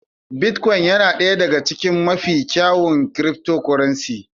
Bitcoin yana ɗaya daga cikin mafi kyawun cryptocurrencies.